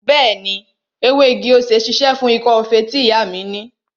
Bẹẹni, ewé igi-osè ṣíṣe fún ikọ́ feré tí ìyá mi ni